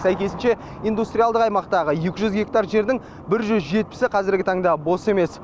сәйкесінше индустриялық аймақтағы екі жүз гектар жердің бір жүз жетпісі қазіргі таңда бос емес